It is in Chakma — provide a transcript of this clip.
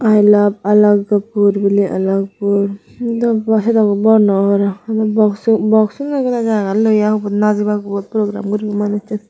i love alagpur biley alagpur dw bwa sedokw bor nw obwnwrrow adw boxu boxuney goda jagan loye aa hubot najibak hubot program guribak manussun.